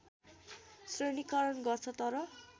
श्रेणीकरण गर्छ तर